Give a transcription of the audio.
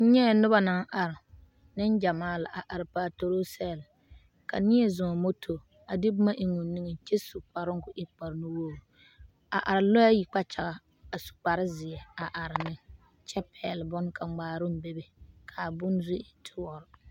nyɛɛ noba naŋ are neŋgyamaa la a are patoroo sɛɛl. ka neɛ zɔŋ moto a de boma eŋ o niŋeŋ kyɛ su kparoŋ ka o e kpar enuwogiri a are lɔɛ ayi kpakyagaŋ a su kpare zeɛ are ne kyɛ pɛgele bone kaŋa ka ŋmaaroŋ bebe ka abone zu e doɔre.